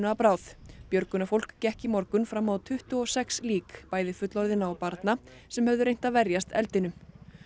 að bráð björgunarfólk gekk í morgun fram á tuttugu og sex lík bæði fullorðinna og barna sem höfðu reynt að verjast eldinum